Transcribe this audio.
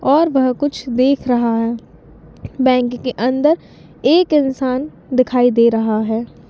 --ओर वह कुछ दिख रहा है बैंक के अंदर एक इंसान दिखाई दे रहा है।